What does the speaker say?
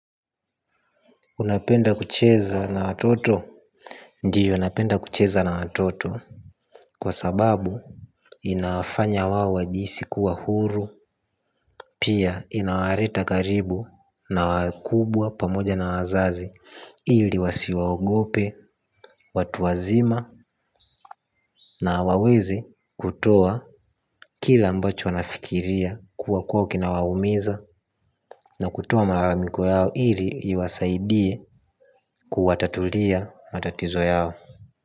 Unapenda kucheza na watoto. Ndiyo napenda kucheza na watoto kwa sababu inafanya wao wajihisi kuwa huru. Pia inawareta karibu na wakubwa pamoja na wazazi ili wasiwaogope watu wazima. Na waweze kutoa kile ambacho wanafikiria kuwa kwao kina waumiza. Na kutoa maralamiko yao ili iwasaidie kuwatatulia matatizo yao.